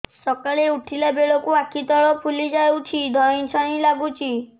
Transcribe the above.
ସକାଳେ ଉଠିଲା ବେଳକୁ ଆଖି ତଳ ଫୁଲି ଯାଉଛି ଧଇଁ ସଇଁ ଲାଗୁଚି